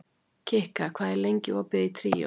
Kikka, hvað er lengi opið í Tríó?